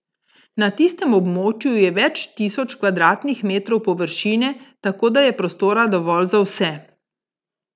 Na tistem območju je več tisoč kvadratnih metrov površine, tako da je prostora dovolj za vse.